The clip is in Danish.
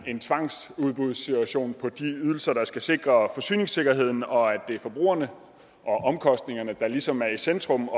en tvangsudbudssituation vedrørende de ydelser der skal sikre forsyningssikkerheden og at det er forbrugerne og omkostningerne der ligesom er i centrum